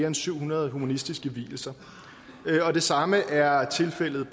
end syv hundrede humanistiske vielser det samme er tilfældet